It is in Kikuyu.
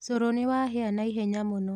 Cũrũ nĩwahĩa naihenya mũno.